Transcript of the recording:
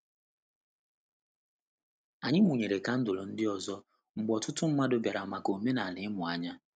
Anyị mụnyere kandụl ndị ọzọ mgbe ọtụtụ mmadụ bịara maka omenala imu anya.